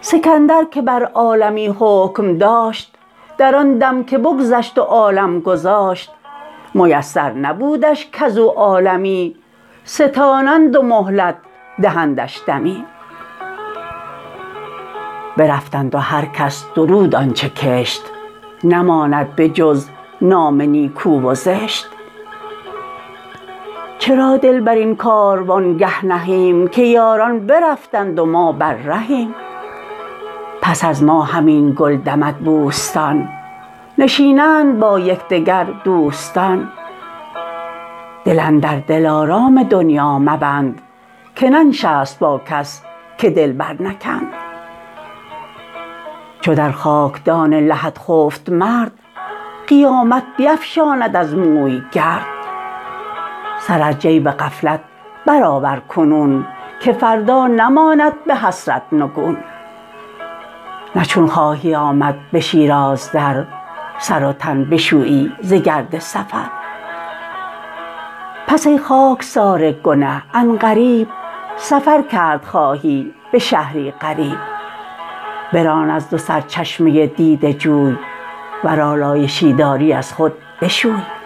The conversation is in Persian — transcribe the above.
سکندر که بر عالمی حکم داشت در آن دم که بگذشت و عالم گذاشت میسر نبودش کز او عالمی ستانند و مهلت دهندش دمی برفتند و هر کس درود آنچه کشت نماند به جز نام نیکو و زشت چرا دل بر این کاروانگه نهیم که یاران برفتند و ما بر رهیم پس از ما همین گل دمد بوستان نشینند با یکدگر دوستان دل اندر دلارام دنیا مبند که ننشست با کس که دل بر نکند چو در خاکدان لحد خفت مرد قیامت بیفشاند از موی گرد سر از جیب غفلت برآور کنون که فردا نماند به حسرت نگون نه چون خواهی آمد به شیراز در سر و تن بشویی ز گرد سفر پس ای خاکسار گنه عن قریب سفر کرد خواهی به شهری غریب بران از دو سرچشمه دیده جوی ور آلایشی داری از خود بشوی